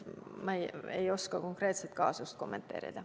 Ma ei oska seda konkreetset kaasust kommenteerida.